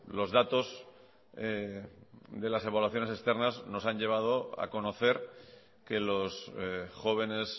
los datos de las evaluaciones externas nos han llevado a conocer que los jóvenes